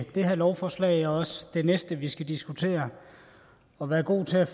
det her lovforslag og også det næste vi skal diskutere at være gode til at